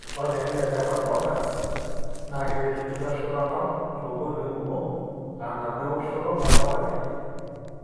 Ore olchani le Beta Blockers na keretu enkitashoto oltau tonkoitoi kumok, a-nabo eoshoto oltau akiti.